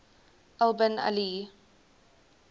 al bin ali